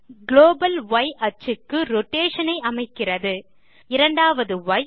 global ய் axis க்கு rotation ஐ அமைக்கிறது இரண்டாவது ய்